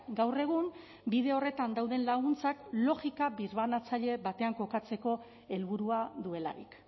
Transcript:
gaur egun bide horretan dauden laguntzak logika birbanatzaile batean kokatzeko helburua duelarik